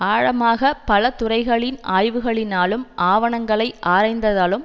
ஆழமாக பலதுறைகளின் ஆய்வுகளினாலும் ஆவணங்களை ஆராய்ந்ததாலும்